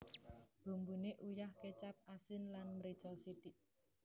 Bumbune uyah kecap asin lan mrica sithik